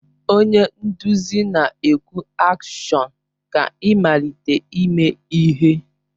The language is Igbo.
Onye nduzi na-ekwu AKSHỌN ka ịmalite ime ihe.